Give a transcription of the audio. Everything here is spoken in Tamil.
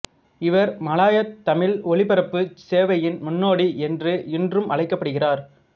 இவர் மலாயாத் தமிழ் ஒலிபரப்புச் சேவையின் முன்னோடி என்று இன்றும் அழைக்கப் படுகிறார்